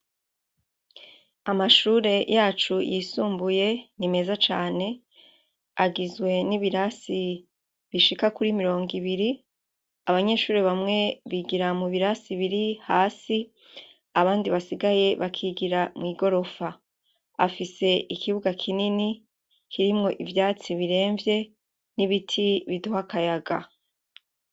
Amashure yacu yisumbuye, ni meza cane, agizwe n'ibirasi bishika kuri mirongo ibiri, abanyeshure bamwe bigira mubirasi biri hasi, abandi basigaye bakigira mw'igorofa. Afise ikibuga kinini, kirimwo ivyatsi biremvye, n'ibiti biduha akayaga.